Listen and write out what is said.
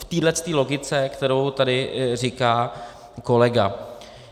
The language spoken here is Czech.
V této logice, kterou tady říká kolega.